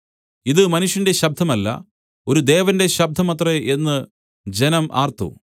ഇത് മനുഷ്യന്റെ ശബ്ദമല്ല ഒരു ദേവന്റെ ശബ്ദം അത്രേ എന്ന് ജനം ആർത്തു